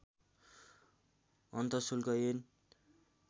अन्तशुल्क ऐन